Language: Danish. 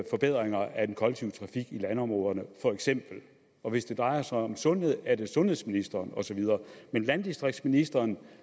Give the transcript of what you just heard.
forbedringer af den kollektive trafik i landområderne og hvis det drejer sig om sundhed er det sundhedsministeren og så videre men landdistriktsministeren